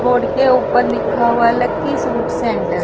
board के ऊपर लिखा हुआ है लकी सूट सेंटर --